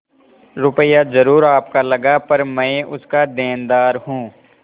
रुपया जरुर आपका लगा पर मैं उसका देनदार हूँ